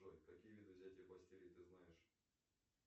джой какие виды взятия бастилии ты знаешь